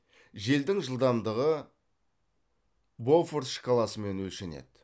желдің жылдамдығы бофорт шкаласымен өлшенеді